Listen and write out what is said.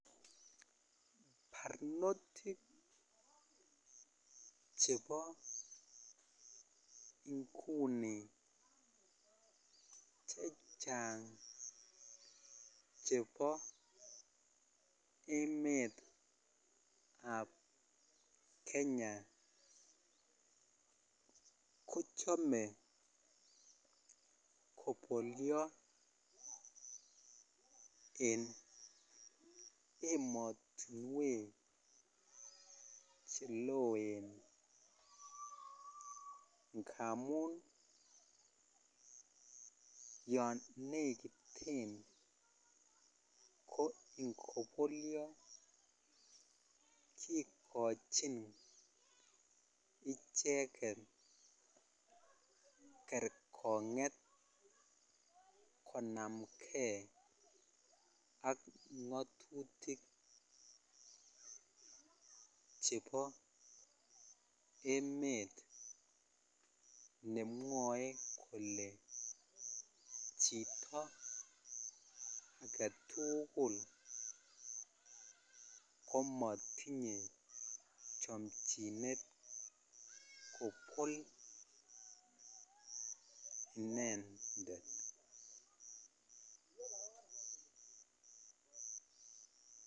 Barnotik chebo inguni chechang chebo emet ab Kenya kochame kobolio en ematunwek cheloen ngamun yanekiten ko ingobolio ikochin icheket kergonget konamgei ak ngatutik chebo emet nemwae Kole Chito agetugul komatinye chanchinet kobol inendet